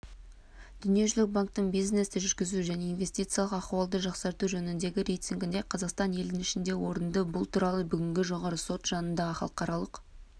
дүниежүзілік банктің бизнесті жүргізу және инвестициялық ахуалды жақсарту жөніндегі рейтингінде қазақстан елдің ішінде орында бұл туралы бүгін жоғарғы сот жанындағы халықаралық